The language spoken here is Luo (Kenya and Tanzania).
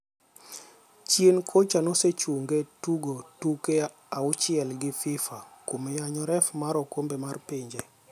Chien kacha nosechunge tugo tuke auchiel gi Fifa kuom yanyo ref mar okombe mar pinje.